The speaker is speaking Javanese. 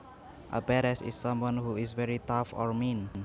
A badass is someone who is very tough or mean